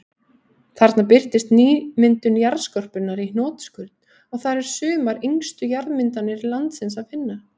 Þarna birtist nýmyndun jarðskorpunnar í hnotskurn, og þar er sumar yngstu jarðmyndanir landsins að finna.